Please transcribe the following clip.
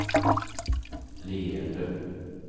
leende